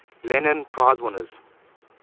lenin prize winners